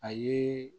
A ye